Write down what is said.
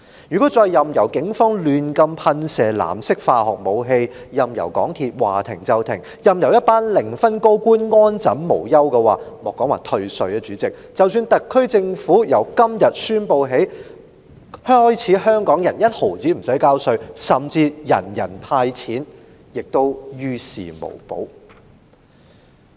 如果我們再任由警方胡亂噴射藍色化學水劑、任由港鐵服務說停便停、任由一群零分高官安枕無憂，主席，莫說只是退稅，即使特區政府宣布從今天起香港人連一毫稅款也無須繳交，甚至提出人人"派錢"，我相信也於事無補。